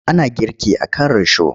Ana girki a kan risho.